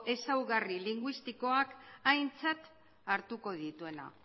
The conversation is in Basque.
ezaugarri linguistikoak aintzat hartuko dituena